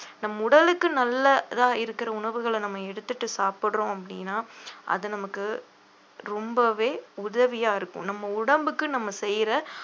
நம் உடலுக்கு நல்லதா இருக்கிற உணவுகள நம்ம எடுத்துட்டு சாப்பிடுறோம் அப்படின்னா அது நமக்கு ரொம்பவே உதவியா இருக்கும் நம்ம உடம்புக்கு நம்ம செய்யற